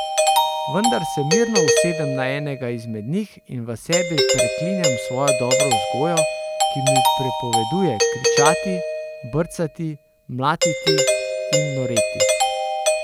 Vendar se mirno usedem na enega izmed njih in v sebi preklinjam svojo dobro vzgojo, ki mi prepoveduje kričati, brcati, mlatiti in noreti.